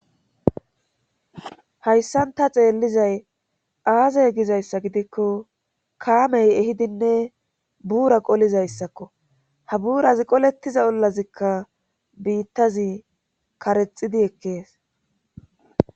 hayssan ta xeellizay aazay gizayssa gidikko kaamey ehidinne buura qolizayssakko ha buuraz qolettiza ollazikka biittazi karexidi ekkees